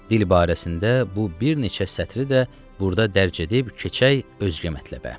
Dil barəsində bu bir neçə sətri də burda dərc edib keçək özgə mətləbə.